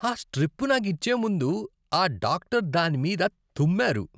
ఆ స్ట్రిప్ నాకు ఇచ్చే ముందు ఆ డాక్టరు దానిమీద తుమ్మారు.